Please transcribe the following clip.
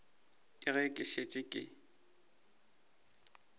ke ge ke šetše ke